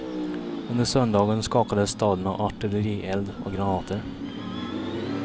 Under söndagen skakades staden av artillerield och granater.